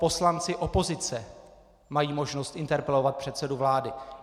Poslanci opozice mají možnost interpelovat předsedu vlády.